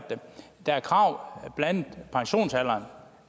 der er krav blandt